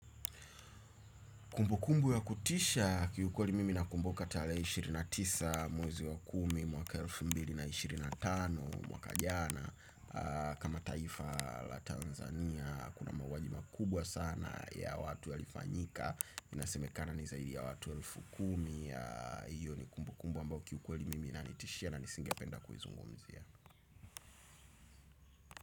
Kumbukumbu ya kutisha kiukweli mimi na kumbuka tale ishirini na tisa mwezi wa kumi mwaka elfu mbili na ishirini na tano mwaka jana. Kama taifa la Tanzania kuna mauaji ma kubwa sana ya watu ya lifanyika. Inasemekana ni zaidi ya watu elfu kumi. Iyo ni kumbukumbu ambao kiukweli mimi na nitishia na nisingependa kuizungumzia.